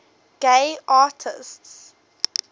gay artists